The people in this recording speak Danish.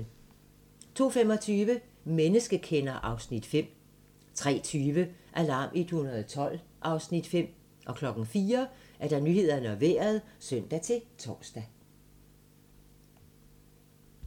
02:25: Menneskekender (Afs. 5) 03:20: Alarm 112 (Afs. 5) 04:00: Nyhederne og Vejret (søn-tor)